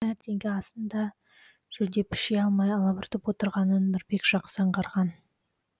таңертеңгі асын да жөндеп іше алмай алабұртып отырғанын нұрбек жақсы аңғарған